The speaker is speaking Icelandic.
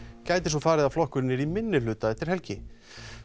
gæti svo farið að flokkurinn yrði í minnihluta eftir helgi